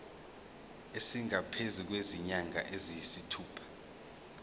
esingaphezu kwezinyanga eziyisithupha